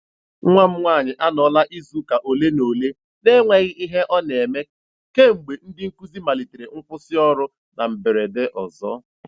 Nwa m nwaanyị anọọla izuụka ole na ole n'enweghị ihe ọ na-eme kemgbe ndị nkụzi malitere nkwụsị ọrụ na mberede ọzọ.